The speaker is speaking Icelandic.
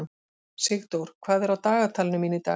Sigdór, hvað er á dagatalinu mínu í dag?